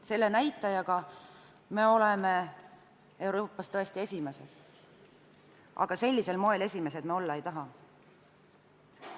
Selle näitaja poolest oleme Euroopas tõesti esimesed, aga sellisel moel esimesed me olla ei taha.